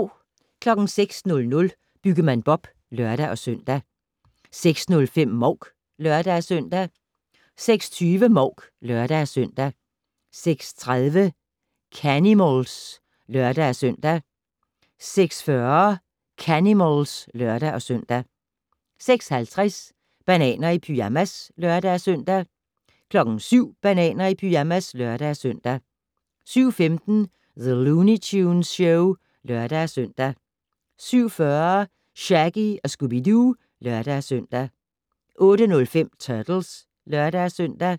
06:00: Byggemand Bob (lør-søn) 06:05: Mouk (lør-søn) 06:20: Mouk (lør-søn) 06:30: Canimals (lør-søn) 06:40: Canimals (lør-søn) 06:50: Bananer i pyjamas (lør-søn) 07:00: Bananer i pyjamas (lør-søn) 07:15: The Looney Tunes Show (lør-søn) 07:40: Shaggy & Scooby-Doo (lør-søn) 08:05: Turtles (lør-søn)